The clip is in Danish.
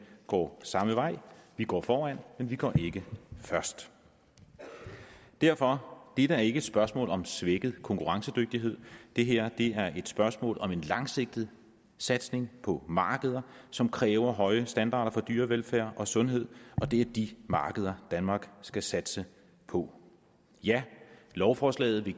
går samme vej vi går foran men vi går ikke først derfor er dette ikke et spørgsmål om svækket konkurrencedygtighed det her er et spørgsmål om en langsigtet satsning på markeder som kræver høje standarder for dyrevelfærd og sundhed og det er de markeder danmark skal satse på ja lovforslaget vil